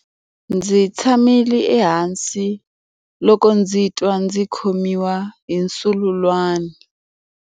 Ndzi tshamile ehansi loko ndzi twa ndzi khomiwa hi nsusulwani.